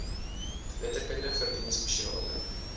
letterkunde verdien spesiale